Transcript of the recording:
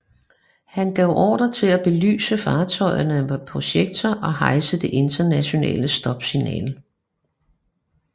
Han gav ordre til at belyse fartøjerne med projektører og hejse det internationale stopsignal